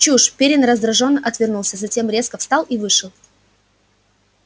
чушь пиренн раздражённо отвернулся затем резко встал и вышел